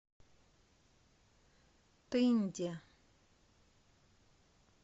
тынде